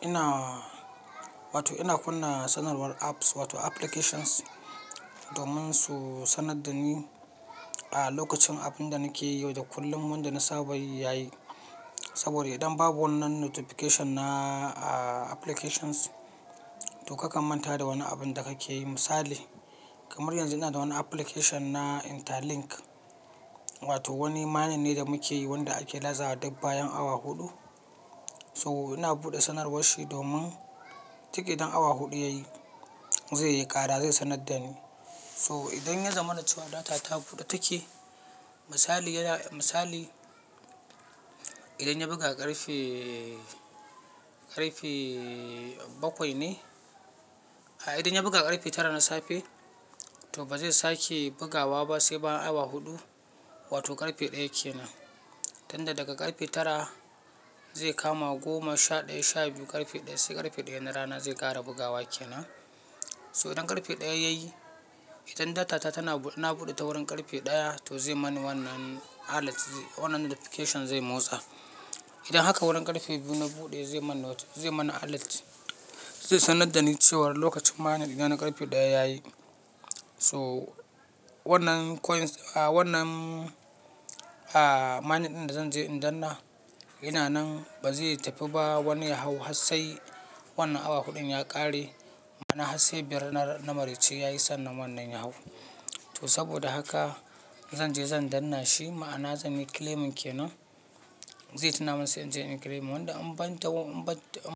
Ina, wato ina kunna sanarwar apps wato applications domin su sanar da ni a lokacin abin da nake yi yauda kullum wanda na saba yi yayi. Saboda idan babu wannan notification na applications to kakan manta da wani abin da kake yi. Misali kamar yanzu ina da wani application na Interlink wato wani mining ne da muke yi wanda ake lazawa duk bayan awa huɗu. To ina bude sanarwanshi domin duk idan awa hudu yayi zaiyi ƙara zai sanar da ni. So idan ya zamana da cewa data ta buɗe take, misali yana misali idan ya buga ƙarfe, ƙarfe bakwai ne. A idan ya buga ƙarfe tara na safe to ba zai sake bugawa ba sai bayan awa huɗu wato ƙarfe ɗaya kenan. Tunda daga ƙarfe tara zai kama goma, sha ɗaya, sha biyu ƙarfe ɗaya sai ƙarfe ɗaya na rana zai ƙara bugawa kenan. So idan karfe daya yayi idan data nabude ta wurin karfe daya to zai mani wannan alert wannan notification zai motsa idan haka wurin ƙarfe biyu na buɗe zai mana noti zai mana alert zai sanar da ni cewa lokacin mining dina na ƙarfe ɗaya yayi. So wannan coins a wannan a mining ɗin da zanje in danna ina nan ba zai tafi ba wani ya hau hassai wannan awa huɗun ya ƙare. Mana hassai biyar na, na maraice yayi sannan wannan ya hau. To saboda haka zanje zan danna shi ma'ana zanyi claiming kenan. Zai tuna min sai inje inyi claiming wanda an ɓanta an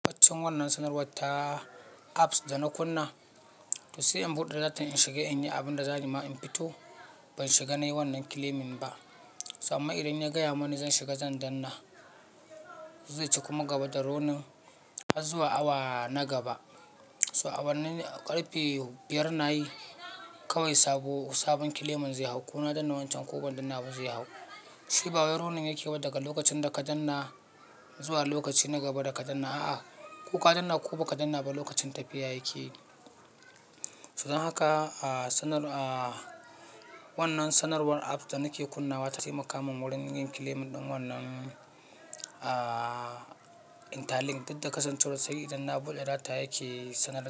ɓaccin wannan sanarwar ta apps da na kunna. To sai in buɗe data in shiga in yi abin da za ni ma in fito. Ban shiga nayi wannan claiming ba. So ammanbidan ya gaya mani zan shiga zan danna zai cika kuma gaba da roni har zuwa awa na gaba. So a wannan ƙarfe biyar nayi kawai sabo sabon claiming zai hau ko na danna wancan ko ban danna ba zai hau. Shi bawain ronin yake yi daga lokacin da ka danna zuwa lokaci na gaba da ka danna. A'a, ko ka danna ko baka danna ba lokacin tafiya yake yi. So don haka a sanar a wannan sanarwar apps da nake kunnawa ta taimaka min wurin yin claim ɗin wannan a Interlink. Dudda kasancewar sai idan na kunna data yake sanarwar.